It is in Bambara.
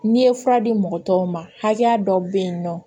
N'i ye fura di mɔgɔ tɔw ma hakɛya dɔw be yen nɔ